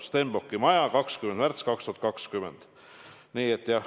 Stenbocki maja, 20. märts 2020.